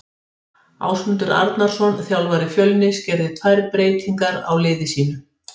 Ásmundur Arnarsson þjálfari Fjölnis gerði tvær breytingar á liði sínu.